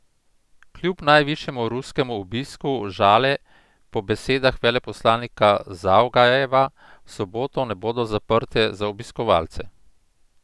Kljub najvišjemu ruskemu obisku Žale po besedah veleposlanika Zavgajeva v soboto ne bodo zaprte za obiskovalce.